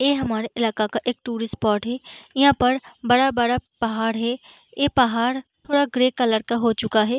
यह हमारे इलाका का एक टूरिस्ट स्पॉट है। यहाँ पर बड़ा बड़ा पहाड़ है। यह पहाड़ थोडा ग्रे कलर का हो चूका है।